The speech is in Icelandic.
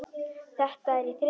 Þetta er í þriðja sinn.